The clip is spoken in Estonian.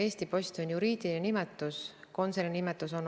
Just nimelt seda juhtumit ma silmas pidasingi, kui ütlesin, et EAS-is on suur segadus olnud.